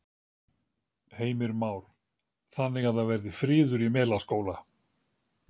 Heimir Már: Þannig að það verði friður í Melaskóla?